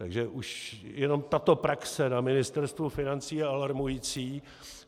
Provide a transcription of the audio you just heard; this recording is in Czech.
Takže už jenom tato praxe na Ministerstvu financí je alarmující.